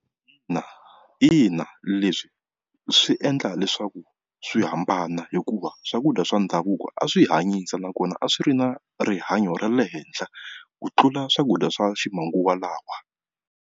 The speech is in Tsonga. Ina, ina leswi swi endla leswaku swi hambana hikuva swakudya swa ndhavuko a swi hanyisa nakona a swi ri na rihanyo ra le henhla ku tlula swakudya swa ximanguva lawa.